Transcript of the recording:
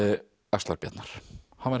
axlar Bjarnar hann var